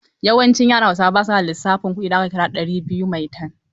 Yawancin yaran hausawa ba su gane lissafin kuɗi in aka kira ɗari biyu Maitan.